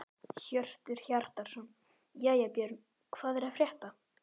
Hjörtur Hjartarson: Jæja Björn, hvað er að frétta?